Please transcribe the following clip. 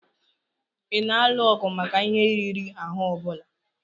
Ị na-alụ ọgụ maka ihe riri ahụ ọ bụla?